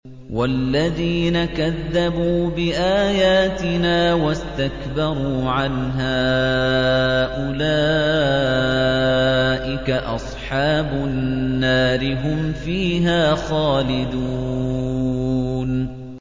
وَالَّذِينَ كَذَّبُوا بِآيَاتِنَا وَاسْتَكْبَرُوا عَنْهَا أُولَٰئِكَ أَصْحَابُ النَّارِ ۖ هُمْ فِيهَا خَالِدُونَ